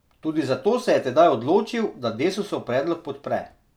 Tudi zato se je tedaj odločil, da Desusov predlog podpre.